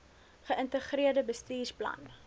ge ïntegreerde bestuursplan